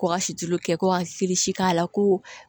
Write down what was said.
Ko ka si tulu kɛ ko ka k'a la ko